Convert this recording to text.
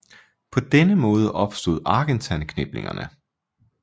På denne måde opstod Argentan kniplingerne